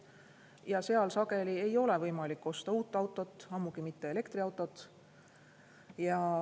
Ja seal sageli ei ole võimalik osta uut autot, ammugi mitte elektriautot.